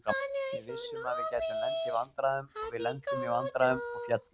Við vissum að við gætum lent í vandræðum og við lentum í vandræðum og féllum.